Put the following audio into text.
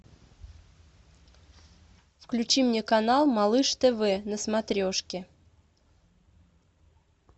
включи мне канал малыш тв на смотрешке